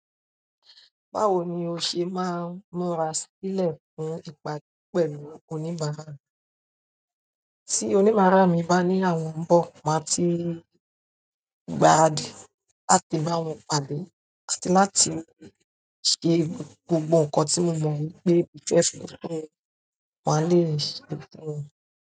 Báwo ni o ṣe máa ń múra sílẹ̀ fún ìpàdé pẹ̀lú oníbàárà rẹ? Tí oníbàárà mi bá ní àwọn ń bọ̀, màá ti gbaradì láti bá wọn pàdé àti láti ṣe gbogbo nǹkan tí mo mọ̀ wípé kò fẹ́ fún wọn, màá lè ṣeé fún wọn.